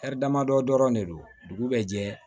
damadɔ dɔrɔn de don dugu bɛ jɛ